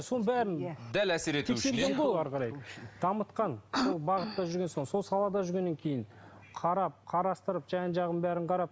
сол бәрін дәл әсер дамытқан сол бағытта жүрген сол салада жүргеннен кейін қарап қарастырып жан жағын бәрін қарап